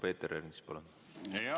Peeter Ernits, palun!